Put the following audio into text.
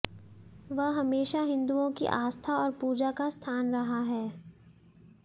वह हमेशा हिंदुओं की आस्था और पूजा का स्थान रहा है